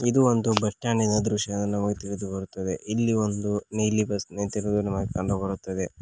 ಇದು ಒಂದು ಬಸ್ ಸ್ಟಾಂಡಿನ ದೃಶ್ಯವೆಂದು ನಮಗೆ ತಿಳಿದು ಬರುತ್ತದೆ ಈ ಒಂದು ನೀಲಿ ಬಸ್ ನಿಂತಿರುವುದು ನಮಗೆ ಕಂಡುಬರುತ್ತದೆ.